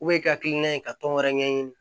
i hakilina ye ka tɔn wɛrɛ ɲɛɲini